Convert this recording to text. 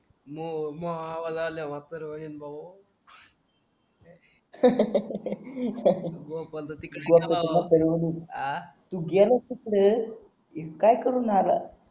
तू गेल्यास तिकडे नी काय करून आलास